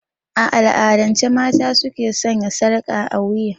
A al'adance mata ne su ke sanya sarƙa a wiya.